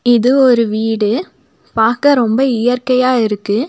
இது ஒரு வீடு பாக்க ரொம்ப இயற்கையா இருக்கு.